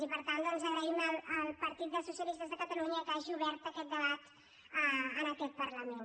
i per tant doncs agraïm al partit dels socialistes de catalunya que hagi obert aquest debat en aquest parlament